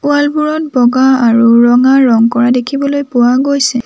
Wall বোৰত বগা আৰু ৰঙা ৰং কৰা দেখিবলৈ পোৱা গৈছে।